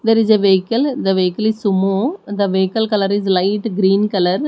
there is a vehicle the vehicle is sumo the vehicle colour is light green colour.